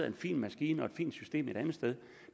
en fin maskine og et fint system et andet sted